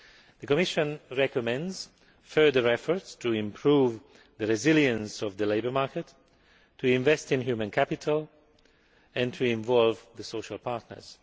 The Commission recommends further efforts to improve the resilience of the labour market, invest in human capital and involve the social partners.